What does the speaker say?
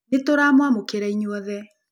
Nĩ tũramũamũkĩra inyuothe